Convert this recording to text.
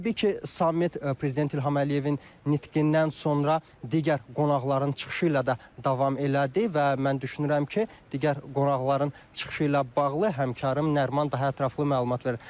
Təbii ki, samit prezident İlham Əliyevin nitqindən sonra digər qonaqların çıxışı ilə də davam elədi və mən düşünürəm ki, digər qonaqların çıxışı ilə bağlı həmkarım Nəriman daha ətraflı məlumat verər.